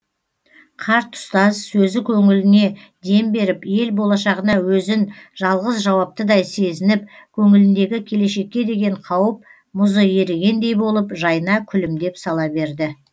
қарт ұстаз сөзі көңіліне дем беріп ел болашағына өзін жалғыз жауаптыдай сезініп көңіліндегі келешекке деген қауіп мұзы ерігендей болып жайна күлімдеп сала берді